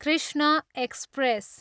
Krishna express